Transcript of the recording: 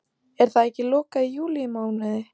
Er það ekki lokað í júlímánuði?